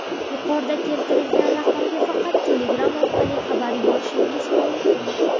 yuqorida keltirilgan raqamga faqat Telegram orqali xabar yuborishingiz mumkin.